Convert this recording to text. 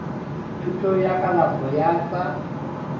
thuto ya kalafo ya tsa